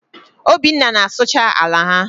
Obinna na-asụcha ala ha.